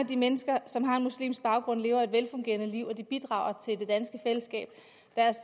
de mennesker som har en muslimsk baggrund lever et velfungerende liv og de bidrager